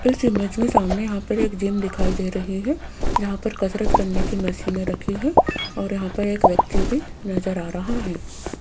इस इमेज में सामने यहां पर एक जिम दिखाई दे रही है यहां पर कसरत करने की मशीनें रखी हैं और यहां पर एक व्यक्ति भी नजर आ रहा है।